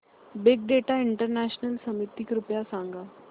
big data international summit कृपया सांगा